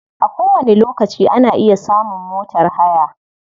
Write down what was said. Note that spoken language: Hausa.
A kowani lokaci ana iya samun motar haya.